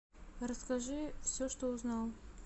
расскажи все что узнал